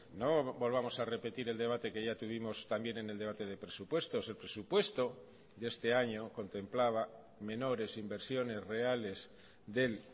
no volvamos a repetir el debate que ya tuvimos también en el debate de presupuestos el presupuesto de este año contemplaba menores inversiones reales del